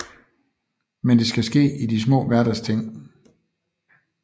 Men det skal ske i de små hverdagsting